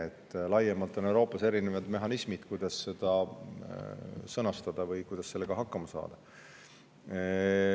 Euroopas on laiemalt olemas erinevad mehhanismid, mille abil seda sõnastada või sellega hakkama saada.